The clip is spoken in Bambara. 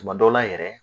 Tuma dɔw la yɛrɛ